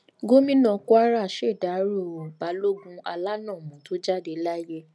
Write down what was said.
gomina kwara ṣèdáròo balógun alánọ̀mọ́ tó jáde láyé